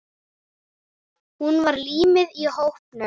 Hún var límið í hópnum.